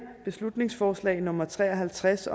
beslutningsforslag nummer tre og halvtreds